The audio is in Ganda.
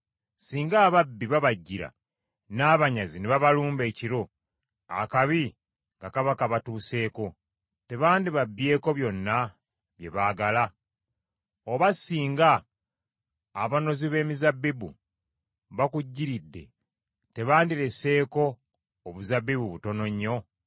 “Singa ababbi babajjira, n’abanyazi ne babalumba ekiro, akabi nga kaba kabatuuseeko. Tebandibabbyeko byonna bye baagala? Oba singa abanozi b’emizabbibu bakujjiridde, tebandireseeko obuzabbibu butono nnyo?